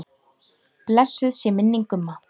Blessuð sé minning Gumma.